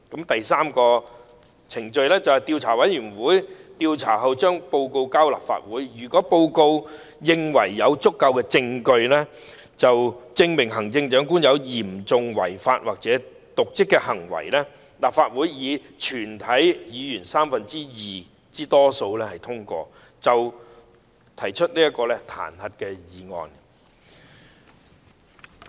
第三，調查委員會進行調查後向立法會提交報告，如報告認為有足夠證據證明行政長官有嚴重違法或瀆職行為，立法會以全體議員三分之二多數通過，便可提出彈劾案。